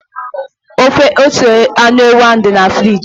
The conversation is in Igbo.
Ofe ose anụ ewu ahụ dị na friji.